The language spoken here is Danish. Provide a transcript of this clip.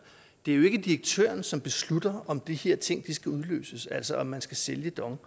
direktøren som beslutter om de her ting skal udløses altså om man skal sælge dong